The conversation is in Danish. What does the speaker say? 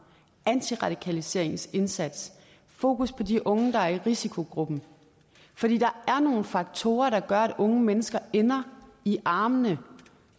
antiradikaliseringsindsatser og fokus på de unge der er i risikogruppen for der er nogle faktorer der gør at unge mennesker ender i armene